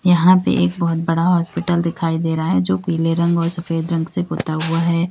यहां पे एक बहोत बड़ा हॉस्पिटल दिखाई दे रहा है जो पीले रंग और सफेद रंग से पूता हुआ है।